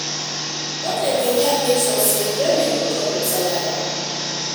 Budget dey help make sure say enjoyment no chop your salary